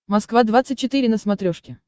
москва двадцать четыре на смотрешке